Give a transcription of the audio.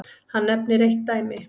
Hann nefnir eitt dæmi.